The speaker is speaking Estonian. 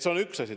See on üks asi.